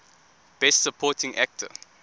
best supporting actor